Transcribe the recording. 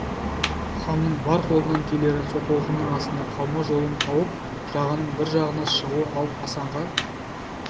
ханның бар қолынан келері сол толқынның астында қалмау жолын тауып жағаның бір жағына шығу ал асанға